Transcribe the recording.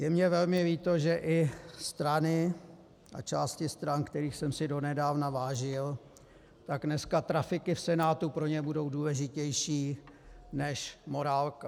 Je mi velmi líto, že i strany a části stran, kterých jsem si donedávna vážil, tak dneska trafiky v Senátu pro ně budou důležitější než morálka.